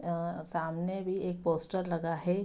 अंअ सामने भी एक पोस्टर लगा है।